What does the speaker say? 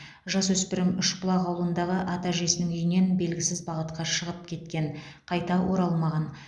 жасөспірім үшбұлақ ауылындағы ата әжесінің үйінен белгісіз бағытқа шығып кеткен қайта оралмаған